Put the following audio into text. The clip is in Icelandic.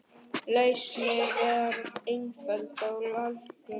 Lausnin var einföld og algjör.